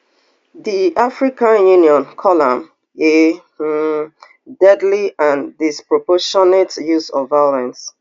di african union call am a um deadly and disproportionate use of violence